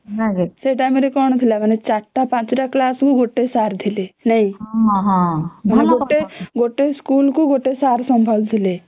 ସେଇ ଟାଇମ ରେ କଣ ଥିଲା ;ଚାରିଟା ପାଞ୍ଚଟା କ୍ଲାସ କୁ ଗୋଟେ ସାର ଥିଲେ ଭଲ ଗୋଟେ ଗୋଟେ ସ୍କୁଲ କୁ ଗୋଟେ ସାର ସମ୍ଭାଳୁଥିଲେ